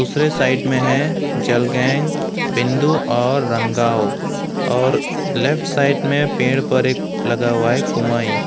दूसरे साइड में है जलगैंग बिंदु और रंगांव और लेफ्ट साइड में पेड़ पर एक लगा हुआ है कुमाई।